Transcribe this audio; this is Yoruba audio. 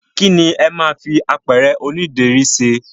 kí lẹ ma fi apẹ̀rẹ̀ oní ìdérí ṣe?